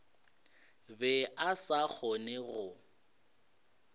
be a sa kgone go